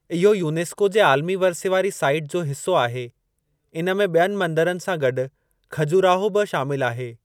इहो यूनेस्को जे आलमी वर्से वारी साईट जो हिसो आहे, इन में ॿियनि मंदरनि सां गॾु खहजोराहो बि शामिल आहे।